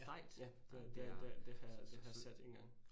Ja, ja, det det det har jeg det har jeg set engang